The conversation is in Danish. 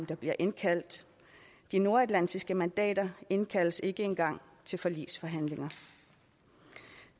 der bliver indkaldt de nordatlantiske mandater indkaldes ikke engang til forligsforhandlinger